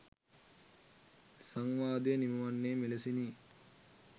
සංවාදය නිම වන්නේ මෙලෙසිනි.